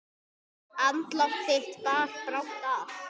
Andlát þitt bar brátt að.